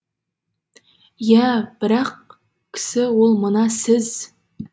иә бір ақ кісі ол мына сіз